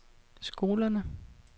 skolerne